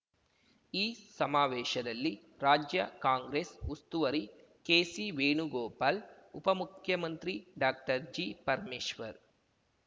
ಈ ಸಮಾವೇಶದಲ್ಲಿ ರಾಜ್ಯ ಕಾಂಗ್ರೆಸ್ ಉಸ್ತುವರಿ ಕೆಸಿ ವೇಣುಗೋಪಾಲ್ ಉಪಮುಖ್ಯಮಂತ್ರಿ ಡಾಕ್ಟರ್ ಜಿ ಪರಮೇಶ್ವರ್